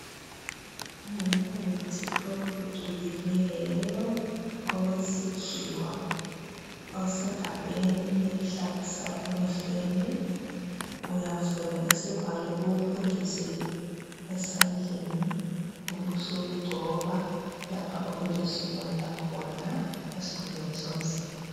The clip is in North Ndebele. Ngumuthi ophucukileyo owesikhiwa osegabheni elihlabusayo emehlweni uyavula isivalo uwupuntshuzele esandleni ubusugcoba lapho okulesilonda khona esikhumbeni somzimba